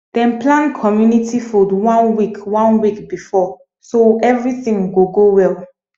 dem plan community food one week one week before so everything go go well